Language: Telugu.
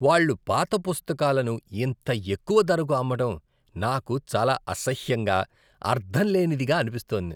వాళ్ళు పాత పుస్తకాలను ఇంత ఎక్కువ ధరకు అమ్మడం నాకు చాలా అసహ్యంగా, అర్ధంలేనిదిగా అనిపిస్తోంది.